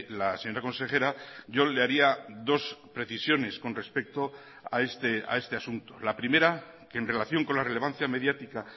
la señora consejera yo le haría dos precisiones con respecto a este asunto la primera que en relación con la relevancia mediática